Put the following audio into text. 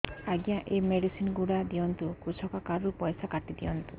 ଆଜ୍ଞା ଏ ମେଡିସିନ ଗୁଡା ଦିଅନ୍ତୁ କୃଷକ କାର୍ଡ ରୁ ପଇସା କାଟିଦିଅନ୍ତୁ